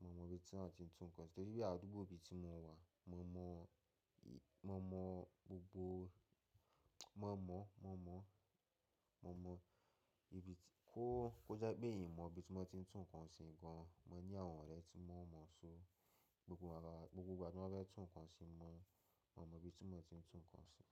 Mo mọ ibi tí wọ́n ti ń tún nǹkan ṣe, torí bí àdúgbò ibi tí mo wà, mo mọ, mo mọ gbogbo, mo mọ, mo mọ, mo mọ ibi tí kó, kò jẹ́ pé ì mọ ibi tí wọ́n ti ń tún nǹkan ṣe gan an, mo ní àwọn ọ̀rẹ́ tí mo mọ̀ so gbogbo ara, gbogbo igba tí wọ́n bá fẹ́ tún nǹkan ṣe, mo, mo mọ ibi tí wọ́n ti ń tún nǹkan ṣe.